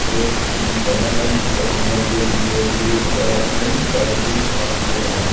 एक वैन है जिसका नंबर प्लेट बी.आर. जीरो चार N five six one four है।